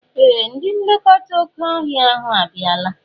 Ee! Ndị nlekọta oké ọhịa ahụ abịala.